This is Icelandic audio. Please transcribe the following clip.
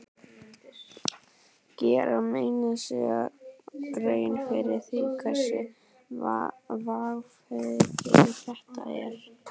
Gera menn sér grein fyrir því hversu vangefið þetta er?